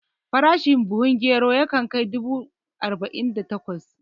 Farashin buhun gero yana kai dubu arba'in da takwas